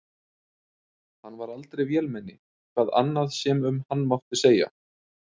Hann var aldrei vélmenni, hvað annað sem um hann mátti segja.